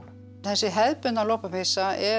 þessi hefðbundna lopapeysa er